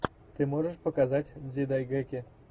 ты можешь показать дзидайгэки